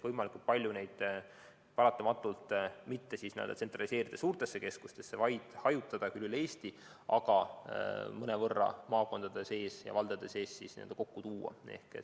Võimalikult palju tuleks neid mitte tsentraliseerida suurtesse keskustesse, vaid hajutada küll üle Eesti, aga maakondade ja valdade sees mõnevõrra kokku tuua.